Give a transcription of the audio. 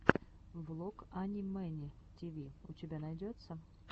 влог ани мэни тиви у тебя найдется